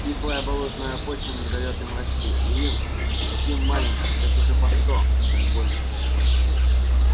кислая болотная почва не даёт им расти и им таким маленьким лет уже по сто а то и больше